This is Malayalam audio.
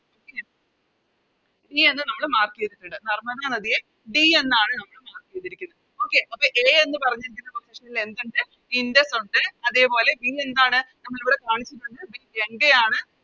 Okay ഇനിയെന്താണ് നമ്മള് Mark ചെയ്തിട്ടിണ്ട് നർമ്മദ നദിയെ D എന്നാണ് നമ്മള് Mark ചെയ്തിരിക്കുന്നത് Okay അപ്പൊ A എന്ന് പറഞ്ഞിരിക്കുന്ന Position ൽ എന്തുണ്ട് ഇൻഡസ് ഒണ്ട് അതേപോലെ B എന്താണ് നമ്മളിവിടെ കാണിച്ചിട്ടുണ്ട് B ഗംഗയാണ്